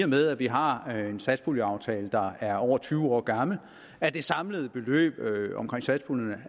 med at vi har en satspuljeaftale der er over tyve år gammel at det samlede beløb omkring satspuljen